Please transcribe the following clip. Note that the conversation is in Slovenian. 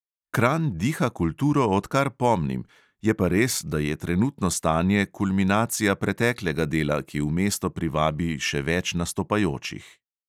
Kranj diha kulturo, odkar pomnim, je pa res, da je trenutno stanje kulminacija preteklega dela, ki v mesto privabi še več nastopajočih.